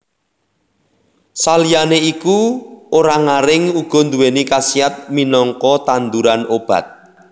Saliyané iku orang aring uga duwéni khasiat minangka tanduran obat